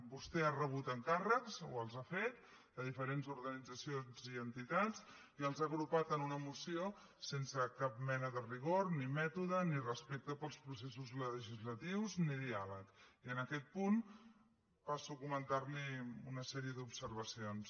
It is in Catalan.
vostè ha rebut encàrrecs o els ha fet de diferents organitzacions i entitats i els ha agrupat en una moció sense cap mena de rigor ni mètode ni respecte pels processos legislatius ni diàleg i en aquest punt passo a comentar li una sèrie d’observacions